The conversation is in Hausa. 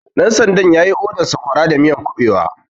Ɗan sandan yayi odan Sakwara da siyan kuɓewa